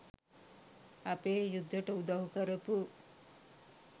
අපේ යුද්දෙට උදව් කරපු